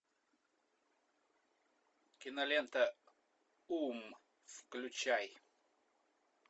кинолента ум включай